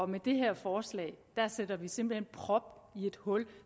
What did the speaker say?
med det her forslag sætter vi simpelt hen prop i et hul